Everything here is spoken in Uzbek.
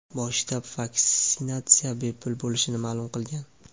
bosh shtab vaksinatsiya bepul bo‘lishini ma’lum qilgan.